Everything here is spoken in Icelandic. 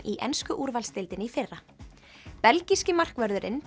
í ensku úrvalsdeildinni í fyrra belgíski markvörðurinn